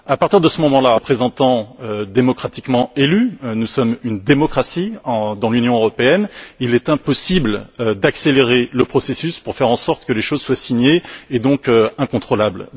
À partir de ce moment là, nous sommes ici des représentants démocratiquement élus, nous sommes une démocratie dans l'Union européenne, il est impossible d'accélérer le processus pour faire en sorte que les choses soient signées et donc incontrôlables.